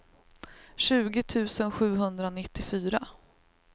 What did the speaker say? tjugo tusen sjuhundranittiofyra